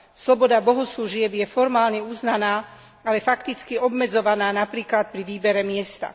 Sloboda bohoslužieb je formálne uznaná, ale fakticky obmedzovaná, napríklad pri výbere miesta.